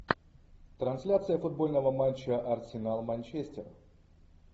трансляция футбольного матча арсенал манчестер